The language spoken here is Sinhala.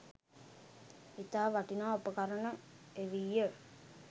ඉතා වටිනා උපකරණ එවී ය.